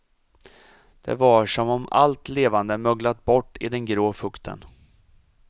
Det var som om allt levande möglat bort i den grå fukten.